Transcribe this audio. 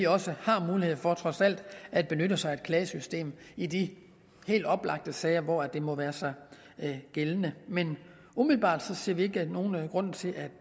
også har mulighed for trods alt at benytte sig af et klagesystem i de helt oplagte sager hvor det må gøre sig gældende men umiddelbart ser vi ikke nogen grund til at